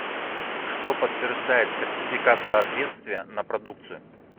что подтверждает сертификат соответствия на продукцию